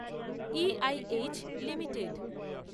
EIH limited